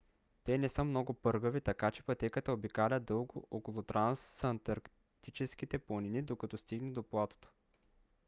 те не са много пъргави така че пътеката обикаля дълго около трансантарктическите планини докато стигне до платото